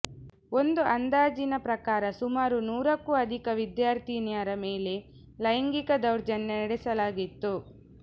ಒಂದು ಅಂದಾಜಿನ ಪ್ರಕಾರ ಸುಮಾರು ನೂರಕ್ಕೂ ಅಧಿಕ ವಿದ್ಯಾರ್ಥಿನಿಯರ ಮೇಲೆ ಲೈಂಗಿಕ ದೌರ್ಜನ್ಯ ನಡೆಸಲಾಗಿತ್ತು